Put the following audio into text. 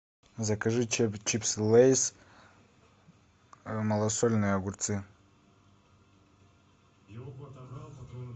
закажи чипсы лейс малосольные огурцы